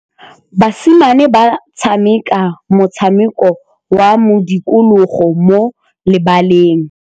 Basimane ba tshameka motshameko wa modikologô mo lebaleng.